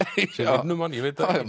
sem vinnumann ég veit það